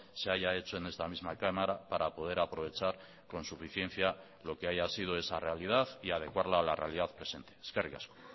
se haya hecho en esta misma cámara para poder aprovechar con suficiencia lo que haya sido esa realidad y adecuarla a la realidad presente eskerrik asko